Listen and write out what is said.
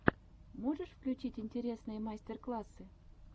можешь включить интересные мастер классы